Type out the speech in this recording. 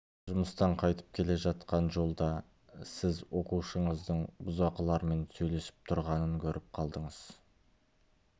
жұмыстан қайтып келе жатқан жолда сіз оқушыңыздың бұзақылармен сөйлесіп тұрғанын көріп қалдыңыз